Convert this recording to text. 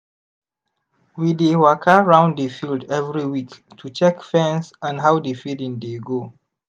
we dey waka round the field every week to check fence and how the feeding dey go.